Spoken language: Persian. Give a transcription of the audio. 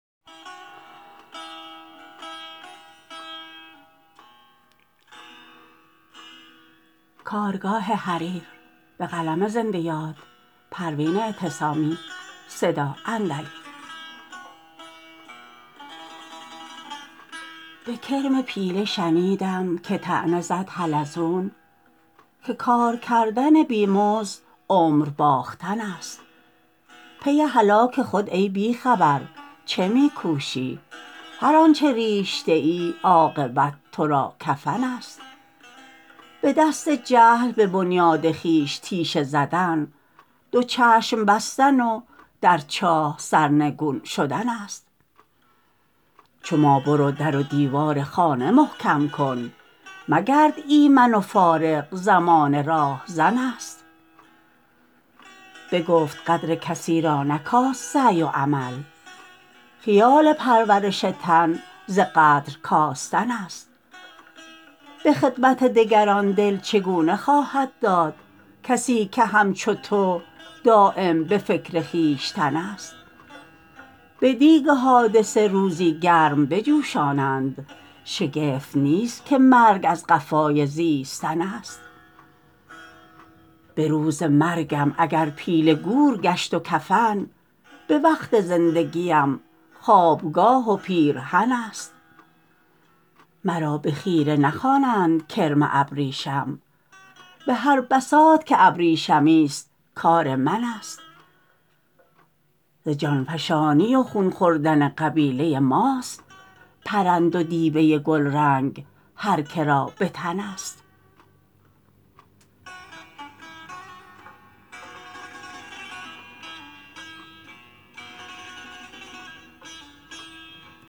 به کرم پیله شنیدم که طعنه زد حلزون که کار کردن بیمزد عمر باختن است پی هلاک خود ای بیخبر چه میکوشی هر آنچه ریشته ای عاقبت ترا کفن است بدست جهل به بنیاد خویش تیشه زدن دو چشم بستن و در چاه سرنگون شدن است چو ما برو در و دیوار خانه محکم کن مگرد ایمن و فارغ زمانه راهزن است بگفت قدر کسی را نکاست سعی و عمل خیال پرورش تن ز قدر کاستن است بخدمت دگران دل چگونه خواهد داد کسی که همچو تو دایم بفکر خویشتن است بدیگ حادثه روزی گرم بجوشانند شگفت نیست که مرگ از قفای زیستن است بروز مرگم اگر پیله گور گشت و کفن بوقت زندگیم خوابگاه و پیرهن است مرا بخیره نخوانند کرم ابریشم بهر بساط که ابریشمی است کار من است ز جانفشانی و خون خوردن قبیله ماست پرند و دیبه گلرنگ هر کرا بتن است